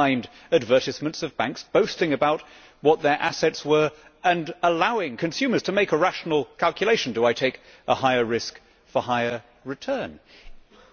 You will find advertisements with banks boasting about what their assets were and allowing consumers to make a rational calculation do I take a higher risk for higher return?